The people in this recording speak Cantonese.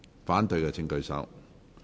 反對的請舉手。